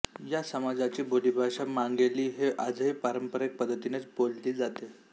या समाजाची बोलीभाषा मांगेली ही आजही पारंपरिक पद्धतीनेच बोलली जाते